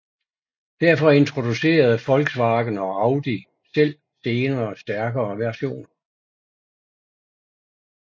Derfor introducerede Volkswagen og Audi selv senere stærkere versioner